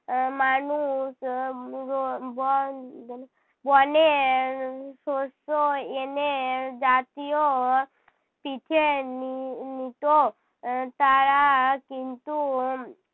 আহ মানুষ আহ বন বনের শস্য এনে জাতীয় পিঠে নি~ নিতো আহ তারা কিন্তু